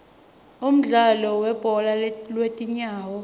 umdlalo webhola lwetinyawo